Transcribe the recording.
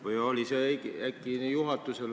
Või oli see volitus äkki juhatusel?